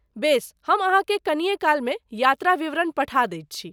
बेस, हम अहाँके कनिए कालमे यात्रा विवरण पठा दैत छी।